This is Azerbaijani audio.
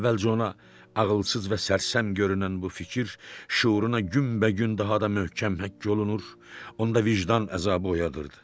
Əvvəlcə ona ağılsız və sərsəm görünən bu fikir şüuruna günbəgün daha da möhkəm həkk olunur, onda vicdan əzabı oyadırdı.